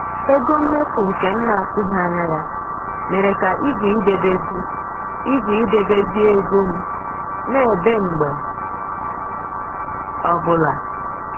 Ego mmefu nke m na-atụghị anya ya mere ka igwe idebezi igwe idebezi ego m na-ebe mgbe ọbụla